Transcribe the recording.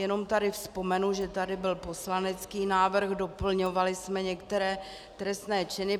Jenom tady vzpomenu, že tady byl poslanecký návrh, doplňovali jsme některé trestné činy.